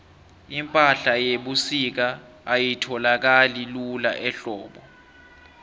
ipahla yebusika ayitholakali lula ehlobo